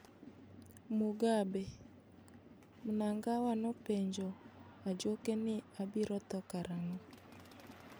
Mugabe: Mnangawa nopenjo a juoke ni abiro tho karang'o